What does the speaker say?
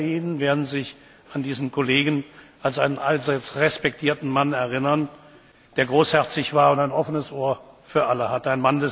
Viele unter Ihnen werden sich an diesen Kollegen als einen allseits respektierten Mann erinnern, der großherzig war und ein offenes Ohr für alle hatte.